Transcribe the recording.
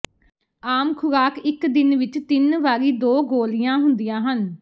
ਆਮ ਖੁਰਾਕ ਇੱਕ ਦਿਨ ਵਿੱਚ ਤਿੰਨ ਵਾਰੀ ਦੋ ਗੋਲੀਆਂ ਹੁੰਦੀਆਂ ਹਨ